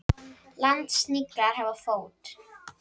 Landsniglar hafa fót.